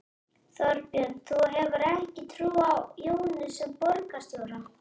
Þorbjörn: Þú hefur ekki trú á Jóni sem borgarstjóra?